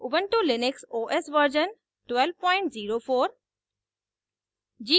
ubuntu Linux os version 1204